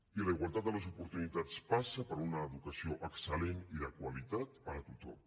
i la igualtat de les oportunitats passa per una educació excel·lent i de qualitat per a tothom